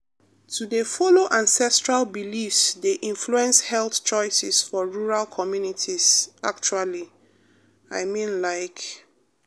to dey follow ancestral beliefs dey influence health choices for rural communities actually i mean like.